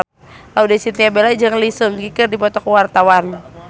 Laudya Chintya Bella jeung Lee Seung Gi keur dipoto ku wartawan